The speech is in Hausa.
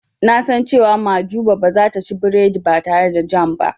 Na san cewa Mahjuba ba zata ci biredi ba tare da jam ba.